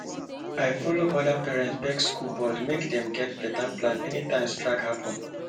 i follow other parents beg school board make dem get better plan anytime strike happen